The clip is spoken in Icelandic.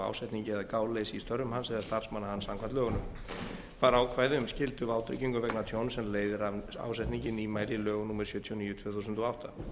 ásetningi eða gáleysi í störfum hans eða starfsmanna hans samkvæmt lögunum var ákvæði um skylduvátryggingu vegna tjóns sem leiðir af ásetningi nýmæli í lögum sjötíu og níu tvö þúsund og átta